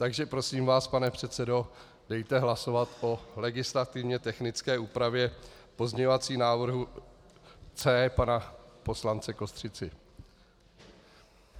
Takže prosím vás, pane předsedo, dejte hlasovat o legislativně technické úpravě, pozměňovací návrh C pana poslance Kostřici.